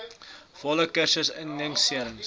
volle kursus immuniserings